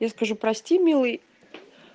я скажу прости милый